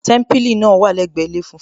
Témípìlì náà wà lẹgbẹ ilé funfun